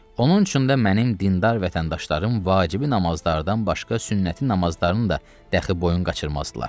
Onun üçün də mənim dindar vətəndaşlarım vacibi namazlardan başqa sünnəti namazlarını da dəxi boyun qaçırmazdılar.